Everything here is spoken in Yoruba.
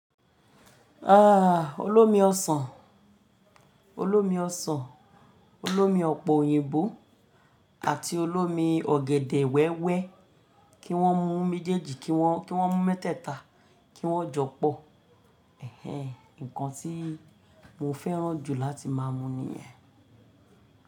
Ah Olómi ọsàn, Olómi ọsàn, Olómi ọ̀pọ̀ òyìnbó àti Olómi ọ̀gẹ̀dẹ̀ wẹ́wẹ́ kí wọ́n mú méjèèjì kí wọ́n, kí wọ́n mú mẹ́tẹ̀ta kí wọ́n jọ pọ̀. Ẹ̀hẹ̀n, ǹkan tí mo fẹ́ràn jù láti máa mú ni yen.